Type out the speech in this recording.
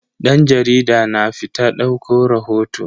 Dan jarida na fita dauko rahoto.